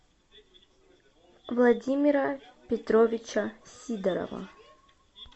владимира петровича сидорова